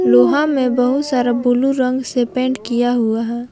लोहा में बहुत सारा ब्लू रंग से पेंट किया हुआ है।